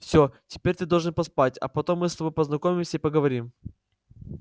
все теперь ты должен поспать а потом мы с тобой познакомимся и поговорим